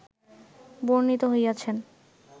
বর্ণিত হইয়াছেন